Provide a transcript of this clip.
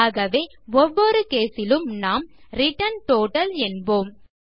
ஆகவே ஒவ்வொரு கேஸ் இலும் நாம் ரிட்டர்ன் டோட்டல் என்போம்